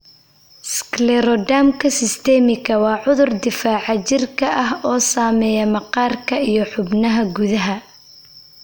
Sclerodermka systemitika waa cudur difaaca jirka ah oo saameeya maqaarka iyo xubnaha gudaha.